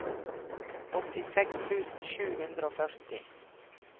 åttiseks tusen sju hundre og førti